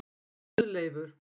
Guðleifur